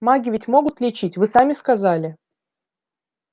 маги ведь могут лечить вы сами сказали